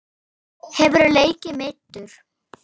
Hefurðu leikið meiddur?